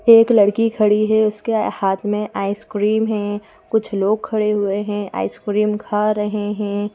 एक लड़की खड़ी है उसके हाथ में आइसक्रीम हैं कुछ लोग खड़े हुए हैं आइसक्रीम खा रहे हैं।